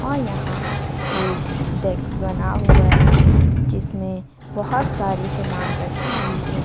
और यहां एक डेस्क बना हुआ है जिसमें बहोत सारे समान रखी हुई हैं।